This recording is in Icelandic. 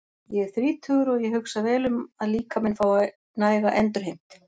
Ég er þrítugur og ég hugsa vel um að líkaminn fái næga endurheimt.